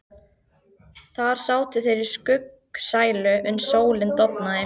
Þar sátu þeir í skuggsælu uns sólin dofnaði.